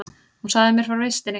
Hún sagði mér frá vistinni.